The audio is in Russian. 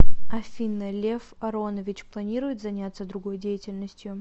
афина лев аронович планирует занятся другой деятельностью